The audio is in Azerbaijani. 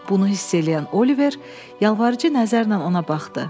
Bunu hiss eləyən Oliver yalvarıcı nəzərlə ona baxdı.